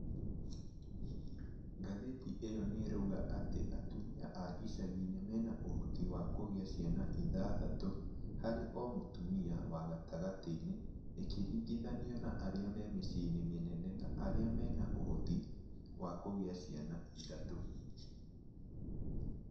Ngathiti ĩyo nĩrauga atĩ atumia a icagi-inĩ mena ũhoti wa kũgĩa ciana ithathatũ harĩ o mũtumia wa gatagatĩ-inĩ ĩkĩringithanio na arĩa me mĩciĩ-inĩ mĩnene na arĩa mena ũhoti wa kũgĩa ciana ĩthatũ